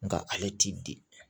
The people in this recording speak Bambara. Nka ale t'i di